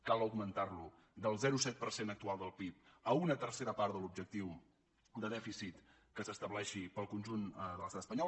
cal augmentar lo del zero coma set per cent actual del pib a una tercera part de l’objectiu de dèficit que s’estableixi per al conjunt de l’estat espanyol